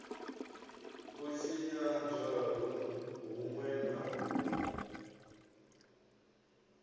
u tshinyadzwa hunwe na hunwe